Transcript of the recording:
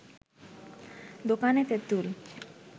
দোকানে তেঁতুল